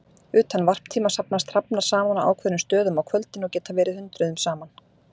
Utan varptíma safnast hrafnar saman á ákveðnum stöðum á kvöldin og geta verið hundruðum saman.